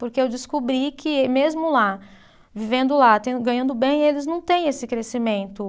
Porque eu descobri que mesmo lá, vivendo lá, tendo, ganhando bem, eles não têm esse crescimento.